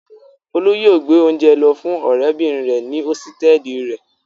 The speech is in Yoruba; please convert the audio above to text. Folú yóò gbé oúnjẹ lọ fún ọ̀rẹ́bìnrin rẹ̀ ní hósítẹ́ẹ́lì rẹ̀.